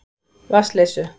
Vatnsleysu